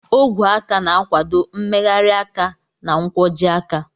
Ogwe aka na-akwado mmegharị aka na nkwojiaka.